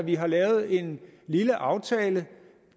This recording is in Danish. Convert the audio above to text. at vi har lavet en lille aftale